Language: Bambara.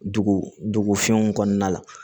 Dugu dugu fɛnw kɔnɔna la